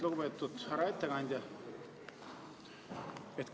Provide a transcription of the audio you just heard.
Lugupeetud härra ettekandja!